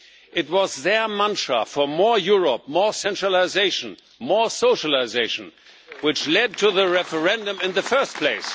It was their mantra for more Europe, more centralisation, more socialisation, which led to the referendum in the first place.